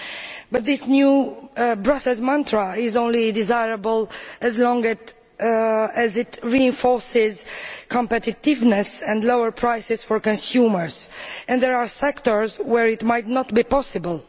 However, this new Brussels mantra is only desirable so long as it reinforces competitiveness and lower prices for consumers, and there are sectors where it might not be possible.